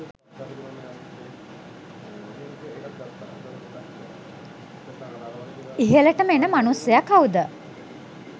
ඉහලටම එන මනුස්සය කවුද